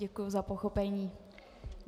Děkuju za pochopení.